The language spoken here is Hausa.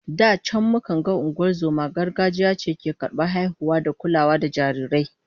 Da can mukan ga ungozomar gargajiya ce ke karbar haihuwa da kula da jarirai